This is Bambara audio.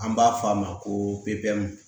An b'a f'a ma ko pepu